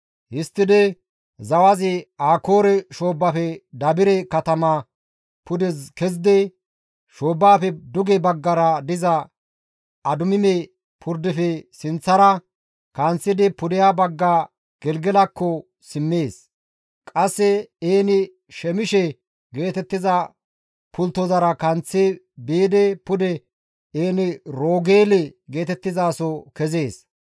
Histtidi zawazi Akoore shoobbafe Dabire katama pude kezidi, shoobbafe duge baggara diza Adumime purdefe sinththara kanththidi pudeha bagga Gelgelakko simmees. Qasse En-Shemishe geetettiza pulttozara kanththi biidi pude En-Roogeele geetettizaso kezees.